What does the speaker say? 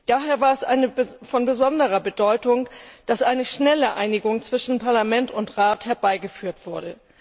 Daher war es von besonderer Bedeutung, dass eine schnelle Einigung zwischen Parlament und Rat herbeigeführt wurde.